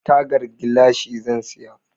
Tagar gilashi zan saya.